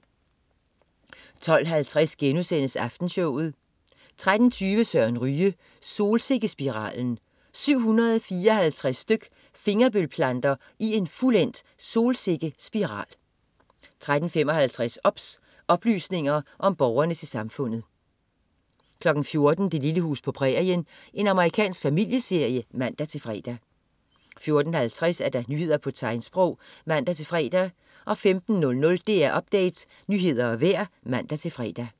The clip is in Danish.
12.50 Aftenshowet* 13.20 Søren Ryge. Solsikkespiralen. 754 styk fingerbølplanter i en fuldendt solsikkespiral 13.55 OBS. Oplysninger til Borgerne om Samfundet 14.00 Det lille hus på prærien. Amerikansk familieserie (man-fre) 14.50 Nyheder på tegnsprog (man-fre) 15.00 DR Update. Nyheder og vejr (man-fre)